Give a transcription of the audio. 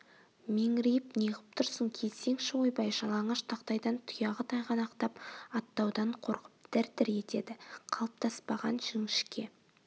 меңірейіп неғып тұрсың келсеңші ойбай жалаңаш тақтайдан тұяғы тайғанақтап аттаудан қорқып дір-дір етеді қалыптаспаған жңшке